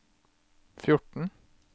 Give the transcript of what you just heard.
fjorten